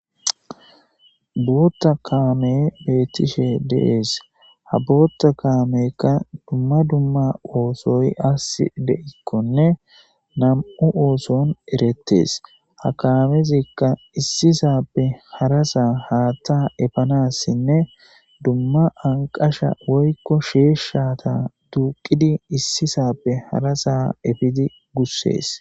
bootta kaame beettishe deees ha bootta kaamekka dumma dumma oosoy as de7ikkonne nam7u ooson erettees ha kamezikka issisappe harasaa haatta efanassinne dumma anqasha woykko sheeshshata duuqidi issisappe harasa efidi gussees